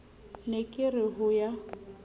ne ke re ho ya